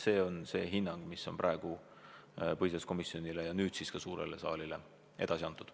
Selline hinnang on põhiseaduskomisjonile ja nüüd siis ka suurele saalile edasi antud.